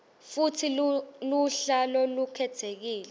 futsi luhla lolukhetsekile